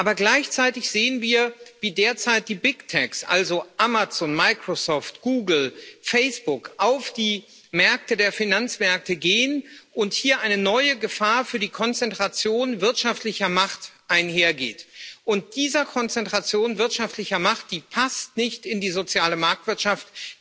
Aber gleichzeitig sehen wir, wie derzeit die BigTechs also Amazon, Microsoft, Google, Facebook auf die Märkte der Finanzmärkte gehen und hier eine neue Gefahr für die Konzentration wirtschaftlicher Macht einhergeht. Diese Konzentration wirtschaftlicher Macht passt nicht in die soziale Marktwirtschaft.